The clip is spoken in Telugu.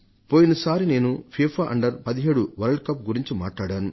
పోయినసారి నేను ఎఫ్ఐఎఫ్ఎ అండర్17 వరల్డ్కప్ గురించి మాట్లాడాను